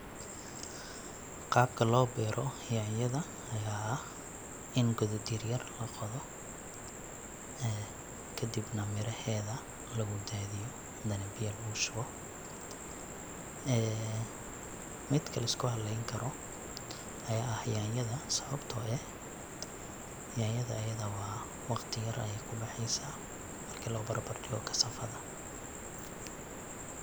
Qaabka loo beero yaanyada ayaa ah in godad yar yar laqodo. kadibna miraheeda lagu daadiyo ,hadana biya lagu shubo. Midka lisku haleyn karo ayaa ah yaanyada sababtoo eh yaanyada ayada waa waqti yar ayeey kubaxeysaa marki loo barbar dhigo casavada .